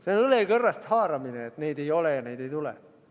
See on õlekõrrest haaramine, et neid ei ole ja neid ei tule.